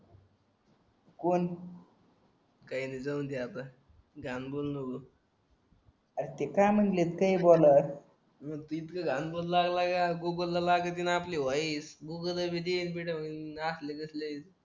कोण काय नाही जाऊदे आता जाम बोललो अरे ती काय म्हणते ते बोलत